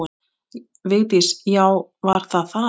Vigdís: Já, var það þar.